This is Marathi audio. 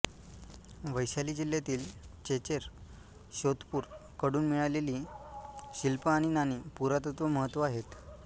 वैशाली जिल्ह्यातील चेचेर श्वेतपूर कडून मिळालेली शिल्प आणि नाणी पुरातत्व महत्त्व आहेत